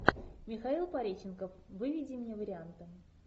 михаил пореченков выведи мне варианты